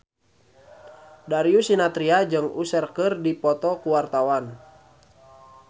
Darius Sinathrya jeung Usher keur dipoto ku wartawan